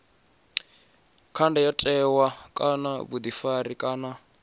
kha ndayotewa kana vhuḓifari kana